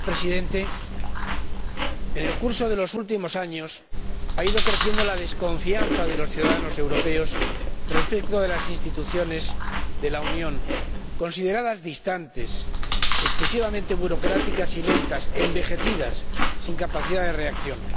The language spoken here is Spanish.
Señor Presidente, en el curso de los últimos años ha ido creciendo la desconfianza de los ciudadanos europeos respecto de las instituciones de la Unión, consideradas distantes, excesivamente burocráticas y lentas, envejecidas, sin capacidad de reacción.